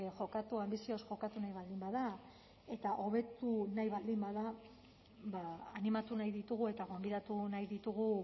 jokatu anbizioz jokatu nahi baldin bada eta hobetu nahi baldin bada animatu nahi ditugu eta gonbidatu nahi ditugu